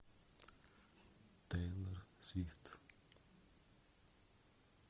тейлор свифт